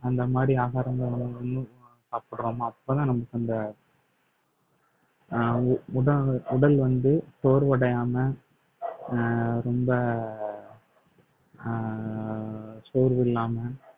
அந்த மாதிரி ஆகாரங்களும் சாப்பிடுறோமோ அப்பதான் நமக்கு அந்த அஹ் உட~ உடல் வந்து சோர்வடையாமல் அஹ் ரொம்ப அஹ் சோர்வு இல்லாம